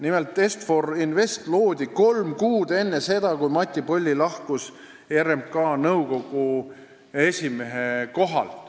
Nimelt, Est-For Invest loodi kolm kuud enne seda, kui Mati Polli lahkus RMK nõukogu esimehe kohalt.